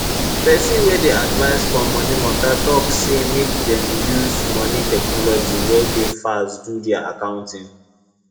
pesin wey dey advise for moni mata talk say make dem use moni technology wey dey fast do dia accounting